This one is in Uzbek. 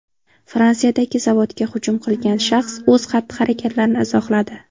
Fransiyadagi zavodga hujum qilgan shaxs o‘z xatti-harakatlarini izohladi.